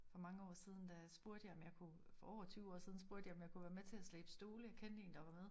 For mange år siden der sprugte jeg for over 20 år siden sprugte jeg om jeg kunne være med til at slæbe stole jeg kendte en der var med